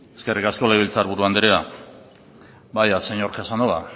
eskerrik asko legebiltzar buru andrea vaya señor casanova